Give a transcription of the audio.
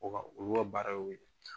O b'a olu ka baara ye o ye.